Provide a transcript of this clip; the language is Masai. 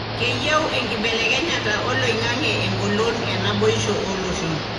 keyieu enkibelekenyata oloingange engolon enaboisho oloshoon.